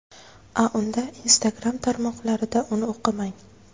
A unda Instagram tarmoqlarida uni o‘qimang.